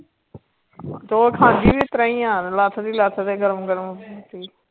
ਤੇ ਉਹ ਖਾਂਦੀ ਵੀ ਇਸ ਤਰ੍ਹਾਂ ਹੀ ਆਂ ਲੱਥਦੀ ਲੱਥਦੇ ਗਰਮ ਗਰਮ।